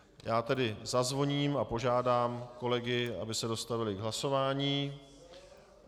Já tedy zazvoním a požádám kolegy, aby se dostavili k hlasování.